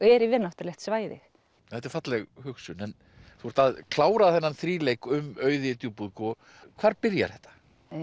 er yfirnáttúrulegt svæði þetta er falleg hugsun en þú ert að klára þennan um Auði djúpúðgu hvar byrjar þetta